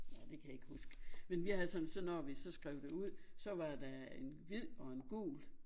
Nå det kan jeg ikke huske men vi havde sådan så når vi så skrev det ud så var der en hvid og en gul